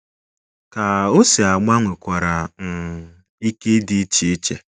Ka o si agba nwekwara um ike ịdị iche iche